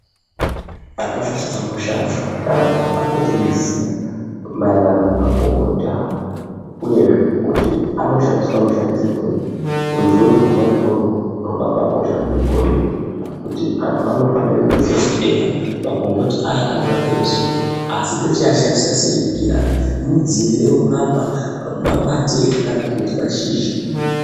Hapana chakamnoshata kuyi antu apoteiziya maererano nemakomboti awo uyezve kuti anoshandiswa mushandisirwei ruziwo rwona irworwo rwakabailkosha kunge goridhe kuti vanhu anofanirwa kuziva kuti eya makomboti ayaanorape musoro asi tochiashandisa sei kuti orape mudzi here unorape ,makwati here kana kuti mashizha.